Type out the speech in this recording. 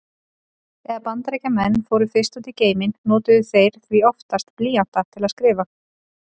Þegar Bandaríkjamenn fóru fyrst út í geiminn notuðu þeir því oftast blýanta til að skrifa.